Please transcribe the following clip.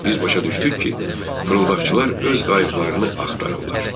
Biz başa düşdük ki, fırıldaqçılar öz qayyıqlarını axtarırlar.